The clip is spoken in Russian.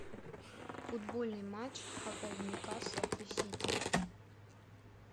футбольный матч апл ньюкасл и сити